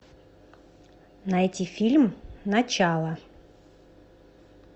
найти фильм начало